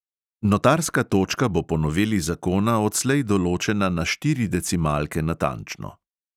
Notarska točka bo po noveli zakona odslej določena na štiri decimalke natančno.